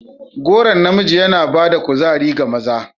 Goron namiji yana ba da kuzari ga maza.